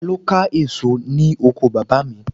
Ta ló ka èso ní oko bàbá mi